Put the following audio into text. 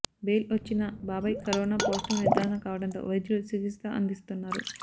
bail వచ్చినా బాబాయ్ corona positive నిర్ధారణ కావడంతో వైద్యులు చికిత్స అందిస్తున్నారు